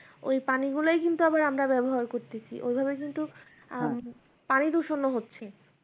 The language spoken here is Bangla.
ওই পানিগুলাই কিন্তু আমরা আবার ব্যবহার করতেছি ওইভাবে কিন্তু আহ পানিদূষণও হচ্ছে